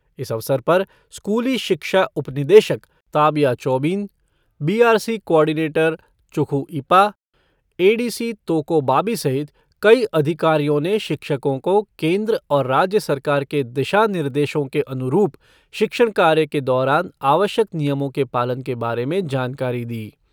इस अवसर पर स्कूली शिक्षा उपनिदेशक Tabia Chobin B R C coordinator Chukhu Ipa, A D C Toko Babi सहित कई अधिकारियों ने शिक्षकों को केंद्र और राज्य सरकार के दिशानिर्देशों के अनुरूप शिक्षण कार्य के दौरान आवश्यक नियमों के पालन के बारे में जानकारी दी।